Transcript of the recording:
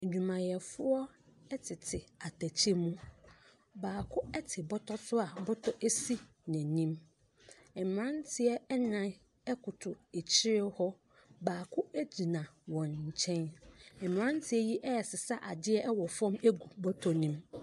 Adwumayɛfoɔ tete atɛkyɛ mu, baako te bɔtɔ so a bɔtɔ di n’anim. Mmerante nnan koto akyire hɔ, baako gyina wɔn nkyɛn. mmeranteɛ yi ɛresesa adeɛ wɔ fam de agu bɔtɔ ne mu.